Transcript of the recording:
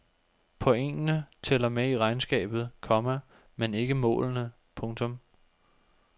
Pointene tæller med i regnskabet, komma men ikke målene. punktum